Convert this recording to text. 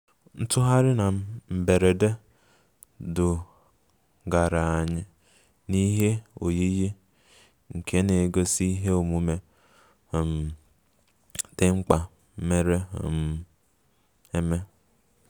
Ntugharị na mberede dugara anyị n'ihe oyiyi nke na-egosi ihe omume um dị mkpa mere um eme